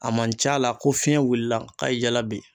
A man ca la ko fiɲɛ wulila ka ye jala ben.